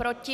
Proti?